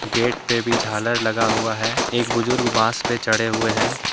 Gate पे भी झालर लगा हुआ है एक बुजुर्ग बास पर चढ़े हुए हैं।